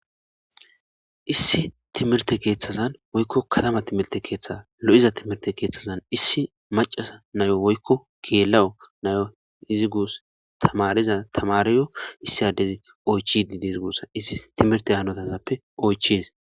issi timirte keeththazan woykko katama timilte keeththe lo7iza timirte keeththazan issi macasa nayo woykko geelawu nayo izi gus tamariza tamariyo issi addezi oychididezi gussa issi timirte hanotasappe oyches